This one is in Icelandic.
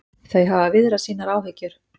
Þau hafa viðrað sínar áhyggjur